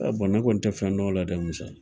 Ee bɔn ne kɔni tɛ fɛn dɔn o la dɛ musa